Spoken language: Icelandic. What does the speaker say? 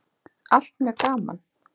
Allt mjög gaman.